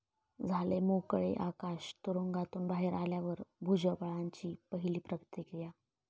झाले मोकळे आकाश, तुरुंगातून बाहेर आल्यावर भुजबळांची पहिली प्रतिक्रिया